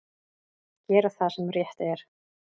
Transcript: Gera það sem rétt er.